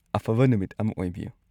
ꯑꯐꯕ ꯅꯨꯃꯤꯠ ꯑꯃ ꯑꯣꯏꯕꯤꯌꯨ!